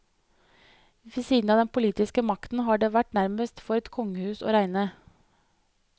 Ved siden av den politiske makten har det vært nærmest for et kongehus å regne.